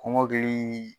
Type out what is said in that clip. Kɔmɔkili